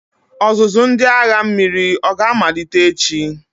Ọzụzụ ndị agha mmiri oga-amalite echi?